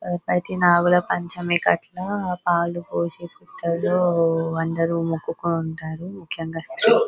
అయతె నాగుల పంచమి కదా చాల మంది వచ్చి పళ్ళు పోసి మొకుతారు